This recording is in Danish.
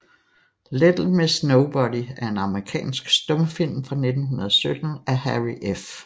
Little Miss Nobody er en amerikansk stumfilm fra 1917 af Harry F